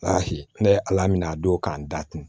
ne ye ala minɛ a don k'an da tun